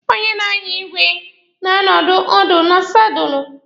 Onye na-anya igwe na-anọdị ọdụ na sadụlụ.